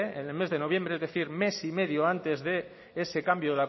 en el mes de noviembre es decir mes y medio antes de ese cambio